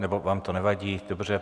Nebo vám to nevadí, dobře.